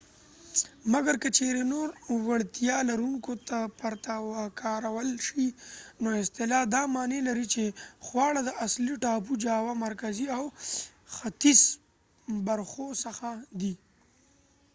مګر که چیرې نور د وړتیا لرونکو پرته وکارول شي نو اصطلاح دا معنی لري چې خواړه د اصلي ټاپو جاوا مرکزي او ختیځ برخو څخه دي